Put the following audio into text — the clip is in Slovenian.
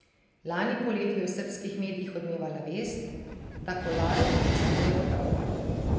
Lani poleti je v srbskih medijih odmevala vest, da Kolarov pričakuje otroka.